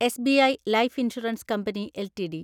SBI life insurance company LTD